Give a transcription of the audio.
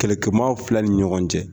Kɛlɛkɛmaa filɛ ni ɲɔgɔn cɛ.